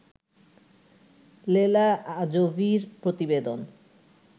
লেলা আজোভির প্রতিবেদন